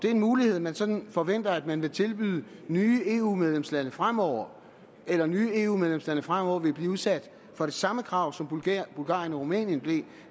er en mulighed man sådan forventer at man vil tilbyde nye eu medlemslande fremover eller om nye eu medlemslande fremover vil blive udsat for det samme krav som bulgarien og rumænien blev